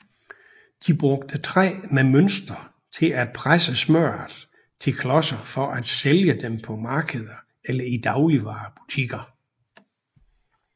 De brugte træ med mønstre til at presse smørret til klodser for at sælge dem på markeder eller i dagligvarebutikker